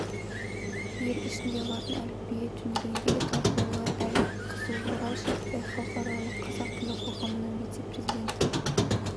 ел ішінде латын әліпбиі төңірегіндегі талқылаулар әлі де қызу орал шәріпбай халықаралық қазақ тілі қоғамының вице-президенті